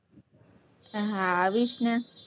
હા, આવીશ ને.